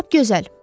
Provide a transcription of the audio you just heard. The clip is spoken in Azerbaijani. Lap gözəl.